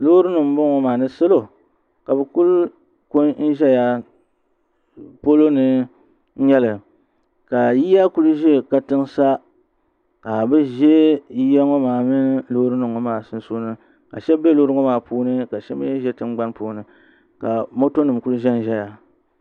Loorinima m-bɔŋɔ maa ni salo ka bɛ kuli ku n-zaya polo ni n-nyɛ li ka yiya kuli za katiŋa sa ka bɛ za yiya ŋɔ maa mini loorinima maa sunsuuni ka shɛba be loorinima ŋɔ maa puuni ka shɛba mi be tingbani puuni ka motonima kuli zanzaya